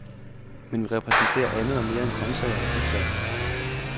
Men vi repræsenterer andet og mere end grøntsager og pizzaer.